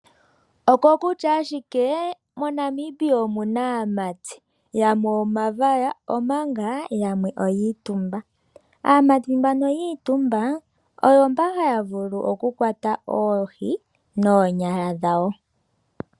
Oko kutya ashike moNamibia omuna aamati yamwe omavaya omanga oyiitumba . Aamati yiitumba oomba haya vulu oohi noonyala dhawo.